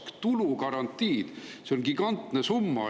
See on gigantne summa!